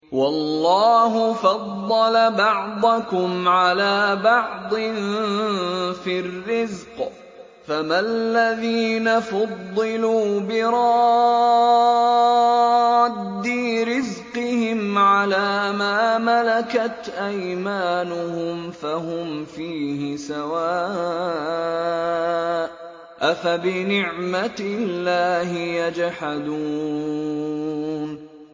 وَاللَّهُ فَضَّلَ بَعْضَكُمْ عَلَىٰ بَعْضٍ فِي الرِّزْقِ ۚ فَمَا الَّذِينَ فُضِّلُوا بِرَادِّي رِزْقِهِمْ عَلَىٰ مَا مَلَكَتْ أَيْمَانُهُمْ فَهُمْ فِيهِ سَوَاءٌ ۚ أَفَبِنِعْمَةِ اللَّهِ يَجْحَدُونَ